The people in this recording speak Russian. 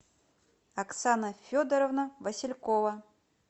оксана федоровна василькова